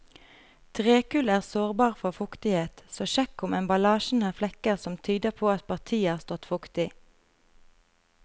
Trekull er sårbar for fuktighet, så sjekk om emballasjen har flekker som tyder på at partiet har stått fuktig.